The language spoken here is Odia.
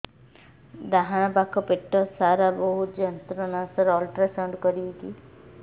ଡାହାଣ ପାଖ ପେଟ ସାର ବହୁତ ଯନ୍ତ୍ରଣା ସାର ଅଲଟ୍ରାସାଉଣ୍ଡ କରିବି କି